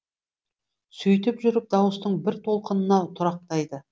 сөйтіп жүріп дауыстың бір толқынына тұрақтайды